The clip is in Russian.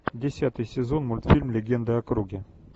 десятый сезон мультфильм легенды о круге